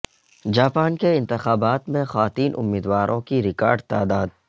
Japan کے انتخابات میں خواتین امیدواروں کی ریکارڈ تعداد